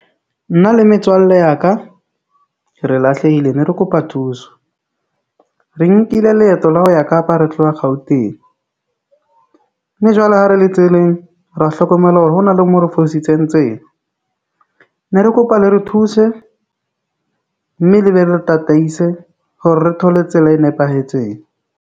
Nna le metswalle ya ka. Re lahlehile ne re kopa thuso re nkile leeto la ho ya Kapa re tloha Gauteng mme jwale ha re le tseleng, ra hlokomela hore ho na le mo re fositseng tsela. Ne re kopa le re thuse mme le re re tataise hore re thole tsela e nepahetseng.